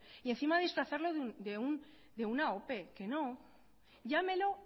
y encima disfrazarlo de una ope que no llámelo